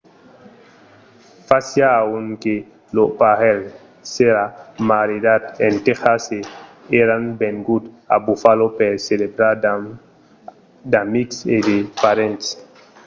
fasiá un an que lo parelh s'èra maridat en tèxas e èran venguts a buffalo per celebrar amb d'amics e de parents